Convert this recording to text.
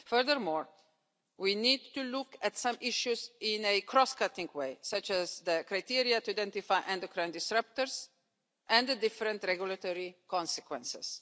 Furthermore, we need to look at some issues in a cross cutting way, such as the criteria to identify endocrine disruptors and the different regulatory consequences.